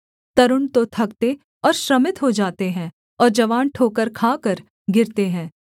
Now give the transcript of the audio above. तरूण तो थकते और श्रमित हो जाते हैं और जवान ठोकर खाकर गिरते हैं